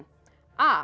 a